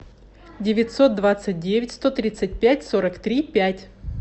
девятьсот двадцать девять сто тридцать пять сорок три пять